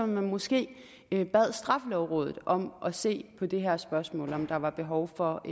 man måske bad straffelovrådet om at se på det her spørgsmål altså om der er behov for